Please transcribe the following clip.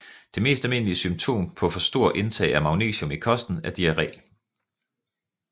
Det mest almindelige symptom på for stort indtag af magnesium i kosten er diarré